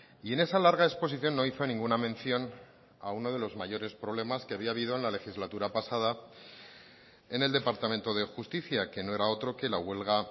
y en esa larga exposición no hizo ninguna mención a uno de los mayores problemas que había habido en la legislatura pasada en el departamento de justicia que no era otro que la huelga